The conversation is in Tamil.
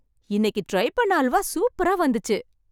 இன்னைக்கு ட்ரை பண்ண அல்வா சூப்பரா வந்துச்சு